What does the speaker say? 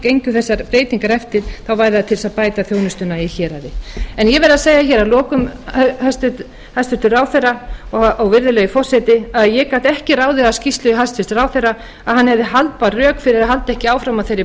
gengju þessar breytingar eftir yrðu þær til þess að bæta þjónustuna í héraði en ég verð að segja að lokum hæstvirtur ráðherra og virðulegi forseti að ég gat ekki ráðið af skýrslu hæstvirts ráðherra að hann hefði haldbær rök fyrir að halda ekki áfram á þeirri